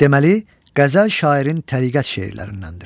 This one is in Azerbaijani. Deməli, qəzəl şairin təriqət şeirlərindəndir.